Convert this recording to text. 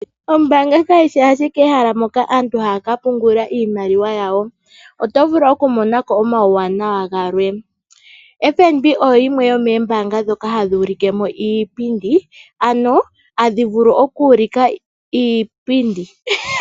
Ombaanga kayi shi ashike ehala moka antu haya ka pungula iimaliwa yawo. Oto vulu okumona ko omawuwanawa galwe. FNB oyo yimwe yomoombaanga ndhoka hadhi ulike mo iipindi, ano hadhi vulu oku ulika iipindi.